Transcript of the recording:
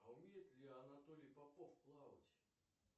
а умеет ли анатолий попов плавать